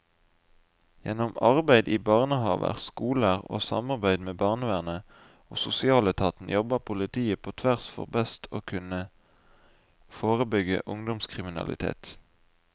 Gjennom arbeid i barnehaver, skoler og samarbeid med barnevernet og sosialetaten jobber politiet på tvers for best å kunne forebygge ungdomskriminalitet.